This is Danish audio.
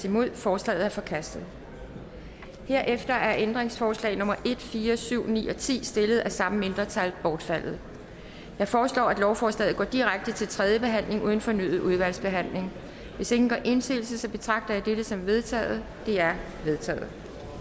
ændringsforslaget er forkastet herefter er ændringsforslag nummer en fire syv og ni ti stillet af samme mindretal bortfaldet jeg foreslår at lovforslaget går direkte til tredje behandling uden fornyet udvalgsbehandling hvis ingen gør indsigelse betragter jeg dette som vedtaget det er vedtaget